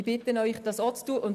Ich bitte Sie, das auch zu tun.